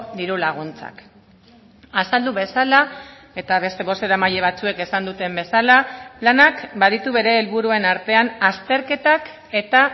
diru laguntzak azaldu bezala eta beste bozeramaile batzuek esan duten bezala lanak baditu bere helburuen artean azterketak eta